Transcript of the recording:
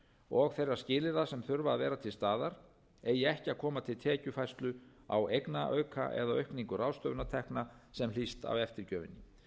og þeirra skilyrða sem þurfa að vera til staðar eigi ekki að koma til tekjufærslu á eignaauka eða aukningu ráðstöfunartekna sem hlýst af eftirgjöfinni